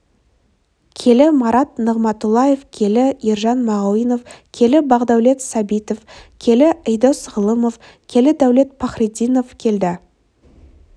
келі марат нығыматұллаев келі ержан мағауинов келі бақдәулет сәбитов келі ійдос ғалымов келі дәулет пахриддинов келі